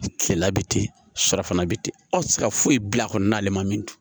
Kilela bɛ ten surafana bɛ ten aw tɛ se ka foyi bil'a kɔnɔna min